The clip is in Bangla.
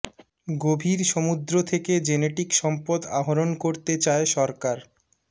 গভীর সমুদ্র থেকে জেনেটিক সম্পদ আহরণ করতে চায় সরকার